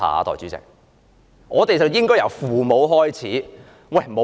因此我們應該由父母開始。